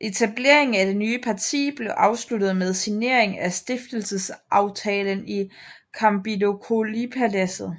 Etableringen af det nye parti blev afsluttet med signering af stiftelsesaftalen i Campidogliopaladset